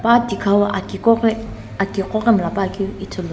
a tikhau aki qoghi aki qoghi mlla puakeu ithulu.